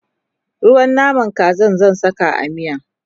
ruwan naman Kazan zan sa a miya